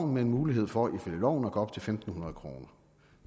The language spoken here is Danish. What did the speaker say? med en mulighed for ifølge loven at gå op til fem hundrede kroner